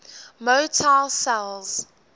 motile cells